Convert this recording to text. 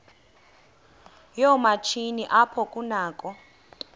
yoomatshini apho kunakho